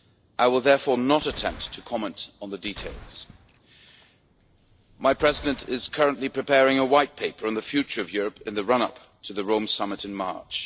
I will therefore not attempt to comment on the details. My President is currently preparing a White Paper on the future of Europe in the run up to the Rome Summit in March.